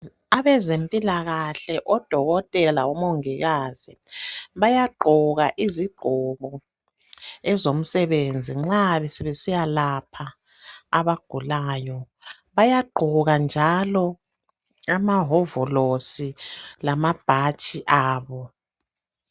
Abezempilakahle odokotela labomongikazi bayagqoka iziqgoko ezomsebenzi nxa sebesiyalapha abagulayo bayagqoka njalo amahovolosi lamabhatshi abo.